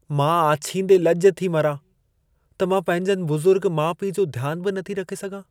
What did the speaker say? मां आछींदे लज॒ थी मरां त मां पंहिंजनि बुज़ुर्ग माउ-पीउ जो ध्यान बि नथी रखे सघां।